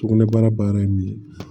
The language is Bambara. Sugunɛbara baara ye min ye